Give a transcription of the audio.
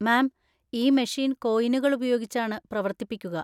മാം, ഈ മെഷീൻ കോയിനുകൾ ഉപയോഗിച്ചാണ് പ്രവർത്തിപ്പിക്കുക.